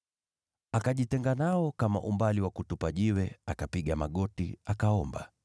Akajitenga nao kama umbali wa kutupa jiwe, akapiga magoti, akaomba